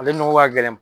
Ale nɔgɔ ka gɛlɛn